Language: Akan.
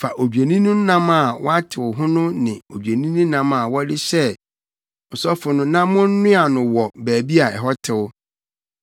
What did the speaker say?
“Fa odwennini no nam a wɔatew ho no ne odwennini nam a wɔde hyɛɛ ɔsɔfo no na monnoa no wɔ baabi a ɛhɔ tew.